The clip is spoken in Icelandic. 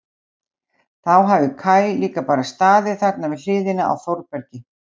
Þá hafi Kaj líka bara staðið þarna við hliðina á Þórbergi.